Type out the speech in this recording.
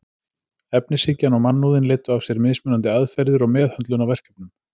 Efnishyggjan og mannúðin leiddu af sér mismunandi aðferðir og meðhöndlun á verkefnum.